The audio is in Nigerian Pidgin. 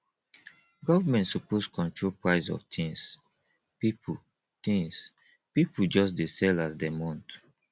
government suppose control price of tins pipo tins pipo just dey sell as dem want